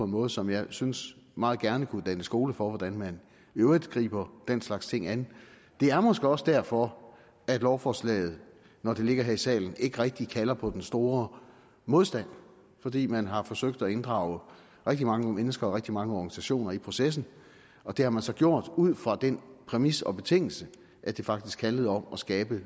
måde som jeg synes meget gerne må danne skole for hvordan man i øvrigt griber den slags ting an det er måske også derfor at lovforslaget når det ligger her i salen ikke rigtig kalder på den store modstand fordi man har forsøgt at inddrage rigtig mange mennesker og rigtig mange organisationer i processen det har man så gjort ud fra den præmis og betingelse at det faktisk handlede om at skabe